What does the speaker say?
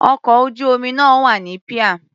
Ọkọ̀ ojú-omi náà wà ní píà.